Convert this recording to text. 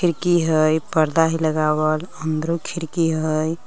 खिड़की हइ पर्दा हइ लगावल अंदरों खिड़की हइ।